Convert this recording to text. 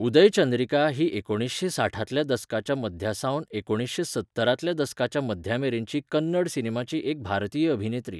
उदयचंद्रिका ही एकुणीसशें साठांतल्या दसकाच्या मध्यासावन एकुणीसशें सत्तरांतल्या दसकाच्या मध्यामेरेनची कन्नड सिनेमाची एक भारतीय अभिनेत्री.